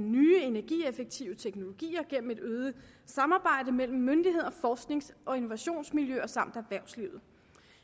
nye energieffektive teknologier gennem et øget samarbejde mellem myndigheder forsknings og innovationsmiljøer samt erhvervslivet